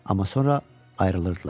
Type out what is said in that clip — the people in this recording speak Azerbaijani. Amma sonra ayrılırdılar.